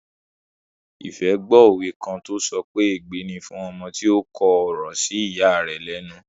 Ìfẹ́ gbó òwe kan tó sọ pé "ègbé ni fún ọmọ tí ó kọ̀rọ̀ sí ìya rẹ̀ lẹ́nu"